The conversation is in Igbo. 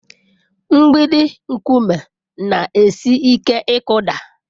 Mgbidi nkume na-esi ike ịkụda.